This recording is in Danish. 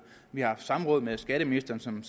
vi har haft samråd med skatteministeren som